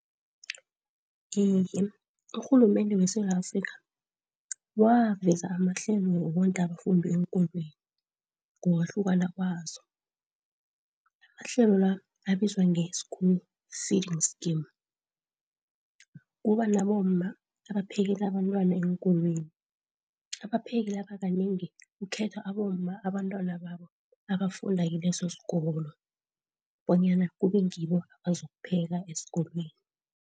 Iye, urhulumende weSewula Afrika waveza amahlelo wokondla abafundi eenkolweni ngokwahlukana kwazo, amahlelo la abizwa nge-school feeding scheme. Kuba nabomma abaphekelela abantwana eenkolweni, abapheki laba kanengi kukhethwa abomma abantwana babo abafunda kilesosikolo bonyana kubengibo abazokupheka esikolweni.